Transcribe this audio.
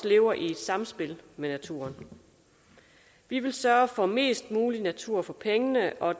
lever i samspil med naturen vi vil sørge for mest muligt natur for pengene og